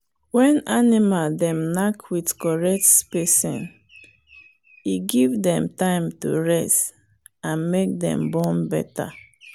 when animal dem knack with correct spacing e give dem time to rest and make dem born better